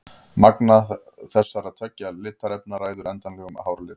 Magn þessara tveggja litarefna ræður endanlegum hárlit.